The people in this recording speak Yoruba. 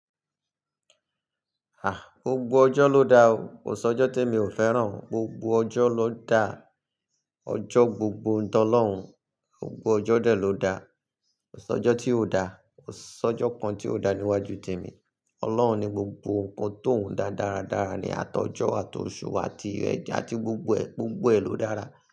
A! Gbogbo ọjọ́ ló da o, kò sí ọjọ́ tí mi ò fẹ́ràn, gbogbo ọjọ́ ló da, ọjọ́ gbogbo ń tọ lọ́hùn, gbogbo ọjọ́ dè ló da, kò sí ọjọ́ tí ò da, kò sí ọjọ́ kan tí ò da níwájú tèmi. Ọlọ́run ni gbogbo nǹkan tó ń dá dáradára ní àtọjọ́ àti òṣù tí rẹ̀ àti gbogbo ẹ, gbogbo ẹ ló dára.